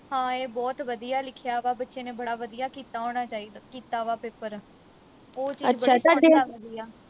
ਹਾਂ ਇਹ ਬਹੁਤ ਵਧੀਆਂ ਲਿਖਿਆ ਵਾ ਬੱਚੇ ਨੇ ਬੜਾ ਵਧੀਆ ਕੀਤਾ ਹੋਣਾ ਚਾਹੀਦਾ ਕੀਤਾ ਵਾ ਪੇਪਰ ਉਹ ਚੀਜ ਲੱਗਦੀ ਆ